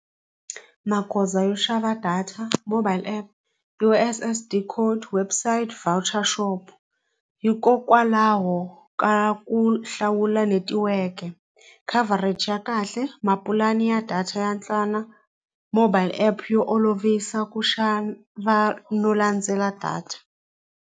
Magoza yo xava data mobile app U_S_S_D code website voucher shop hikokwalaho ka ku hlawula netiweke coverage ya kahle mapulani ya data ya mobile app yo olovisa ku xana va no landzela data.